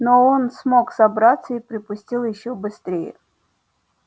но он смог собраться и припустил ещё быстрее